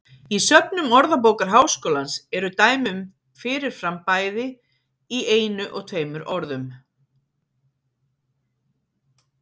Í söfnum Orðabókar Háskólans eru dæmi um fyrir fram bæði í einu og tveimur orðum.